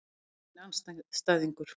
Það yrði minn andstæðingur.